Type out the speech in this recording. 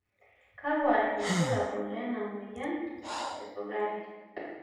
kakua irbulabol klena moyian e sukari?